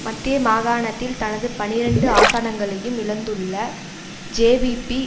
மத்திய மாகாணத்தில் தனது பனிரண்டு ஆசனங்களையும் இழந்துள்ள ஜேவிபி